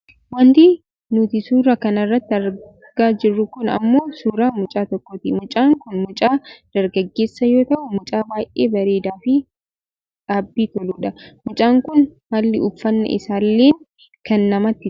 Wanti nuti suuraa kanarratti argaa jirru kun ammoo suuraa mucaa tokkooti . Mucaan kun mucaa dargaggeessa yoo ta'u mucaa baayyee bareedaafi dhaabbii toludha. Mucaan kun haalli uffannaa isaallee kan namatti toludha.